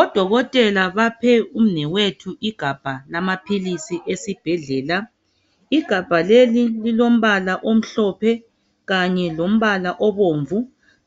Odokotela baphe umnewethu igabha lamaphilisi esibhedlela. Igabha leli lilombala omhlophe, kanye lombala obomvu,